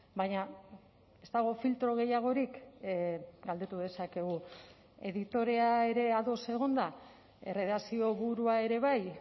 baina ez dago filtro gehiagorik galdetu dezakegu editorea ere ados egon da erredakzio burua ere bai